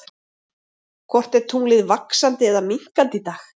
Hvort er tunglið vaxandi eða minnkandi í dag?